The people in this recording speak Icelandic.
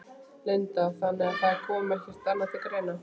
Linda: Þannig að það kom ekkert annað til greina?